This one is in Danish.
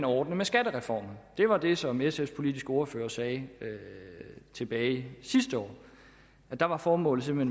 ordnes med skattereformen det var det som sfs politiske ordfører sagde tilbage sidste år der var formålet med